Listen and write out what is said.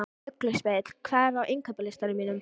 Ugluspegill, hvað er á innkaupalistanum mínum?